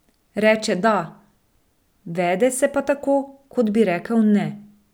Reče da, vede pa se tako, kot bi rekel ne.